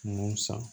Nun san